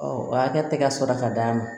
o hakɛ tɛ ka sɔrɔ ka d'a ma